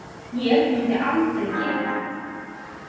Ég myndi aldrei gera þetta.